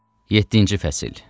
Yeddinci fəsil.